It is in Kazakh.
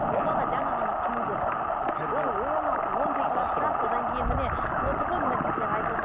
ол бала жаңа ғана туды он алты он жеті жаста содан кейін міне отыр ғой мына кісілер айтып отыр